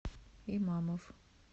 имамов